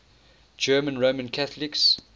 german roman catholics